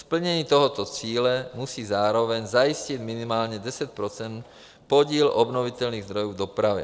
Splnění tohoto cíle musí zároveň zajistit minimálně 10 % podíl obnovitelných zdrojů v dopravě.